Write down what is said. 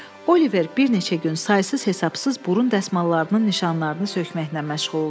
Oliver bir neçə gün saysız-hesabsız burun dəsmallarının nişanlarını sökməklə məşğul oldu.